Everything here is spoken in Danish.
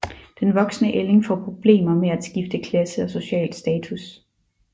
Den voksne ælling får problemer med at skifte klasse og social status